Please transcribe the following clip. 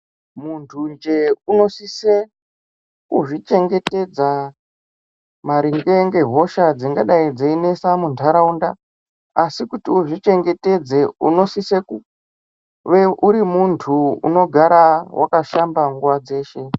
Munthu nje unosise kuzvichengetedza maringe ngehosha dzingadai dzeinesa muntaraunda asi kuti uzvichengetedze unosise kuve uri munthu unogara wakashamba nguwa dzeshe.